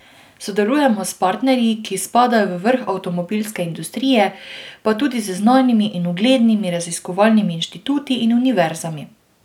Sodelujemo s partnerji, ki spadajo v vrh avtomobilske industrije, pa tudi z znanimi in uglednimi raziskovalnimi inštituti in univerzami.